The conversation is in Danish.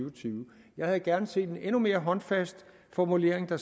og tyve jeg havde gerne set en endnu mere håndfast formulering der